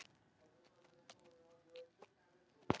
Mikið er hann feginn því að hafa tekið þessa ákvörðun.